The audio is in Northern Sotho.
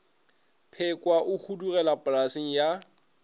pekwa o hudugela polaseng ya